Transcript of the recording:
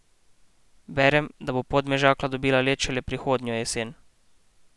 Berem, da bo Podmežakla dobila led šele prihodnjo jesen.